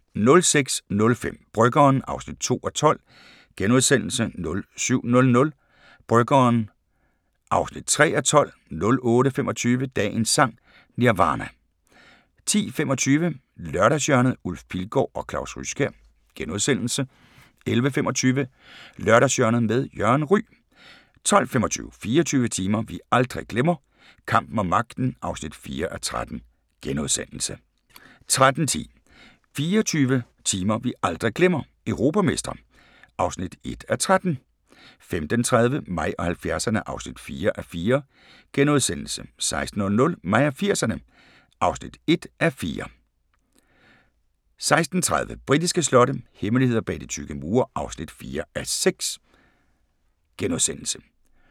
06:05: Bryggeren (2:12)* 07:00: Bryggeren (3:12) 08:25: Dagens Sang: Nirvana 10:25: Lørdagshjørnet - Ulf Pilgaard og Claus Ryskjær * 11:25: Lørdagshjørnet med Jørgen Ryg 12:25: 24 timer vi aldrig glemmer – kampen om magten (4:13)* 13:10: 24 timer vi aldrig glemmer – europamestre (1:13) 15:30: Mig og 70'erne (4:4)* 16:00: Mig og 80'erne (1:4) 16:30: Britiske slotte – hemmeligheder bag de tykke mure (4:6)*